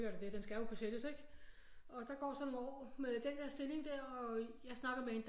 Selvfølgelig er der den den skal jo besættes ikke og der går så nogle år med den der stilling der og jeg snakker med